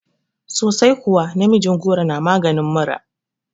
Sosai kuwa, namijin goro na maganin mura